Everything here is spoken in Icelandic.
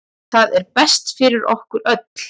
Það er best fyrir okkur öll.